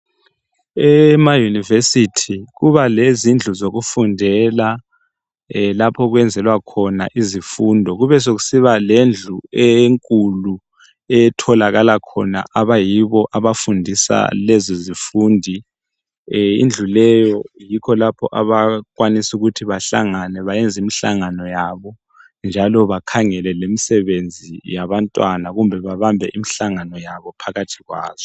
Emayunivesithi kuba lezindlu zokufundela lapho okwenzelwa khona izifundo. Kubesokusiba lendlu enkulu etholakala khona abayibo abafundisa lezi zifundi. Indlu leyo yikho abakwanis' ukuthi bahalangane, bayenz' imhlangano yabo, njalo bakhangele lemisebenzi yabantwana, kumbe babamb' imihlangano yabo phakathi kwazo.